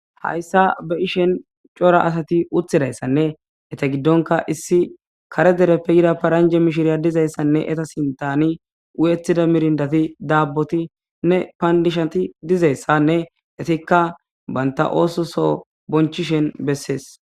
Hayssa ba ishen cora asati uthidayssanne eta giddonka issi kare dereppe yira paranje mishiriya dizayssanne eta sintani u'ettida mirindati daabboti nne payndishati dizayssanne etikka baynta oososo bonchishen bessees.